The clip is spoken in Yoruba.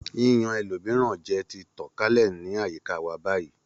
Yíyan ẹlòmíràn jẹ ti tàn kálẹ̀ ní àyíká wa báyìí